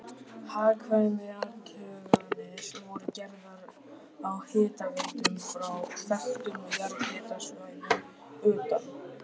Hagkvæmniathuganir voru gerðar á hitaveitum frá þekktum jarðhitasvæðum utan